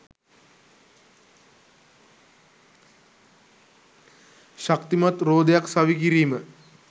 ශක්තිමත් රෝදයක් සවිකිරීම